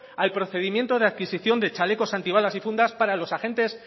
al procedimiento de adquisicion de chalecos antibalas y fundas para los agentes